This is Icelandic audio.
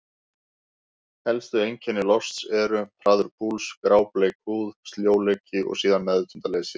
Helstu einkenni losts eru: hraður púls, grábleik húð, sljóleiki og síðan meðvitundarleysi.